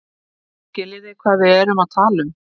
Skiljið þið hvað við erum að tala um.